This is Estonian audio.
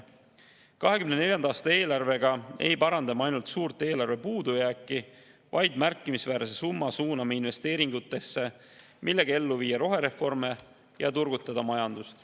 2024. aasta eelarvega ei paranda me ainult suurt eelarvepuudujääki, vaid suuname märkimisväärse summa investeeringutesse, millega saame viia ellu rohereforme ja turgutada majandust.